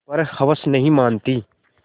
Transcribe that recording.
पर हवस नहीं मानती